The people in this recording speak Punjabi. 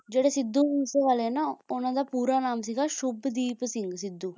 ਜਿਹੜੇ ਸਿੱਧੂ ਮੂਸੇਵਾਲੇ ਹੈਂ ਨਾ ਉਨ੍ਹਾਂ ਦਾ ਪੂਰਾ ਨਾਮ ਸੀਗਾ ਸ਼ੁੱਭਦੀਪ ਸਿੰਘ ਸਿੱਧੂ